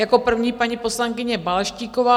Jako první paní poslankyně Balaštíková.